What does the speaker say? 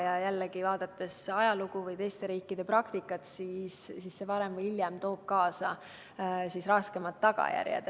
Ja jällegi, vaadates ajalugu või teiste riikide praktikat, toob see varem või hiljem kaasa rasked tagajärjed.